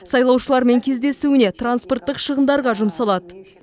сайлаушылармен кездесуіне транспорттық шығындарға жұмсалады